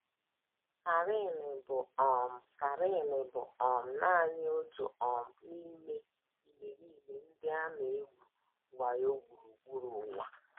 Karen bụ um Karen bụ um nanị otu um n’ime imerime ndị a na - egwu wayo gburugburu ụwa.